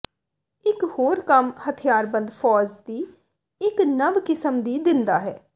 ਇਕ ਹੋਰ ਕੰਮ ਹਥਿਆਰਬੰਦ ਫ਼ੌਜ ਦੀ ਇੱਕ ਨਵ ਕਿਸਮ ਦੀ ਦਿੰਦਾ ਹੈ